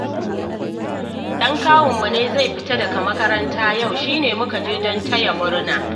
Ɗan kawunmu ne zai fita daga makaranta yau, shi ne muka je don taya murna